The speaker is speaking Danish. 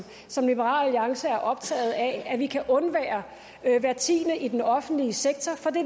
som liberal alliance er optaget af at vi kan undvære hver tiende i den offentlige sektor for det